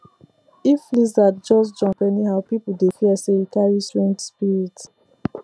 if lizard just jump anyhow people dey fear say e carry strange spirit